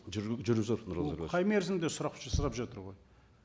ол қай мерзімде сұрап сұрап жатыр ғой